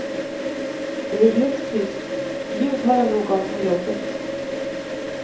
Det är helt tyst, ljud har jag nog av på jobbet.